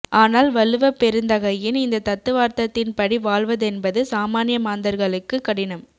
ஆனால் வள்ளுவப்பெருந்தகையின் இந்த தத்துவார்த்தத்தின் படி வாழ்வதென்பது சாமான்ய மாந்தர்களுக்கு கடினம்